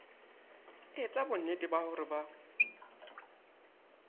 etsa bonnete ba hore ba